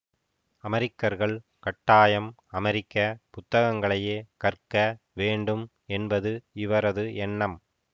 அமெரிக்கர்கள் கட்டாயம் அமெரிக்க புத்தகங்களையே கற்க வேண்டும் என்பது இவரது எண்ணம்